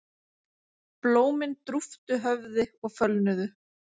Blómin drúptu höfði og fölnuðu.